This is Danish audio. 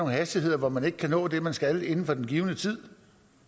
hastigheder hvor man ikke kan nå det man skal inden for den givne tid